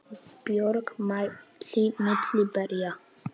Björg mælti milli berja